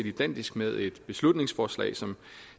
identisk med et beslutningsforslag som